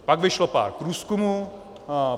Pak vyšlo pár průzkumů.